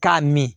K'a min